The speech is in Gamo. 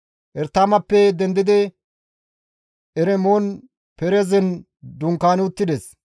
Eretimappe dendidi Eremon-Perezen dunkaani uttides.